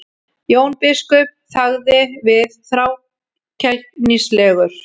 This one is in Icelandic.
Jón biskup þagði við, þrákelknislegur.